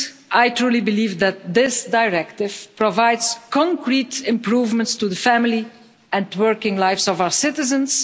I truly believe that this directive provides concrete improvements to the family and working lives of our citizens.